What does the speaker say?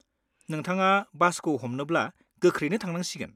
नोंथाङा बासखौ हमनोब्ला गोख्रैनो थांनांसिगोन।